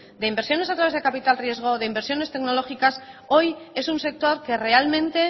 de inversiones a través de capital riesgo de inversiones tecnológicas hoy es un sector que realmente